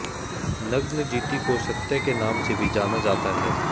नग्नजिती को सत्या के नाम से भी जाना जाता है